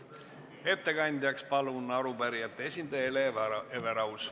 Ettekandjaks palun arupärijate esindaja Hele Everausi.